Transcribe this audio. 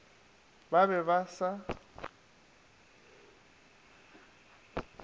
ba be ba sa e